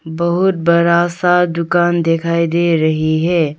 बहुत बड़ा सा दुकान दिखाई दे रही है।